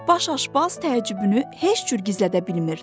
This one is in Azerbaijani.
Baş aşbaz təəccübünü heç cür gizlədə bilmirdi.